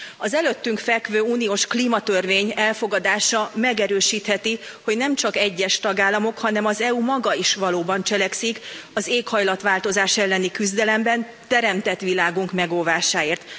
Az előttünk fekvő uniós klímarendelet elfogadása megerősítheti, hogy nemcsak egyes tagállamok, hanem az EU maga is valóban cselekszik az éghajlatváltozás elleni küzdelemben teremtett világunk megóvásáért.